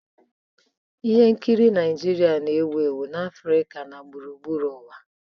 Ihe nkiri Naijiria na-ewu ewu na Afrịka na gburugburu ụwa.